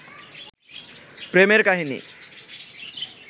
প্রেমের কাহিনী